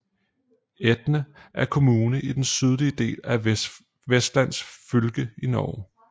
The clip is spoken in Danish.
Etne er en kommune i den sydlige del af Vestland fylke i Norge